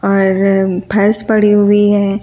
है भैस पड़ी हुई है।